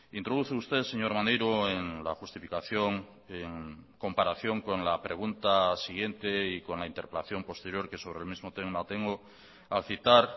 introduce usted señor maneiro en la justificación en comparación con la pregunta siguiente y con la interpelación posterior que sobre el mismo tema tengo a citar